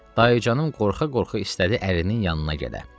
Dayıcanım qorxa-qorxa istədi ərinin yanına gələ.